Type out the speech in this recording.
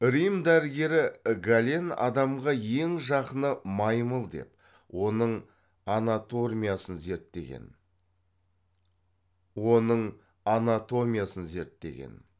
рим дәрігері гален адамға ең жақыны маймыл деп оның анатомиясын зерттеген